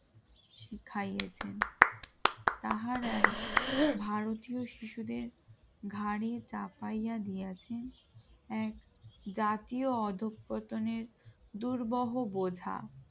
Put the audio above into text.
শিখিয়েছেন তাহারাই ভারতীয় শিশুদের ঘাড়ে চাপাইয়া দিয়াছেন এক জাতীয় অদক্ষনের দুর্বহ বোঝা